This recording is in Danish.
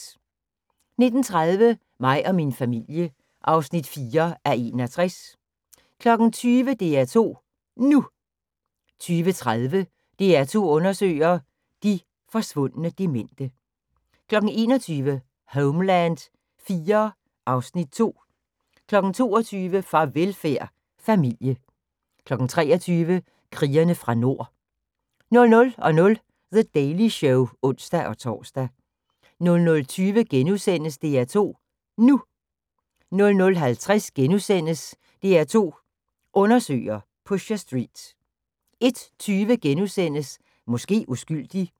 19:30: Mig og min familie (4:61) 20:00: DR2 NU 20:30: DR2 undersøger – de forsvundne demente 21:00: Homeland IV (Afs. 2) 22:00: Farvelfærd: Familie 23:00: Krigerne fra Nord 00:00: The Daily Show (ons-tor) 00:20: DR2 NU * 00:50: DR2 Undersøger: Pusher Street * 01:20: Måske uskyldig *